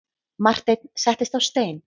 Marteinn settist á stein.